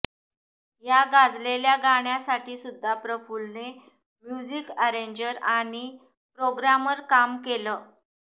या गाजलेल्या गाण्यासाठीसुद्धा प्रफुल्लने म्युझिक अॅरेंजर आणि प्रोग्रॅमर काम केलं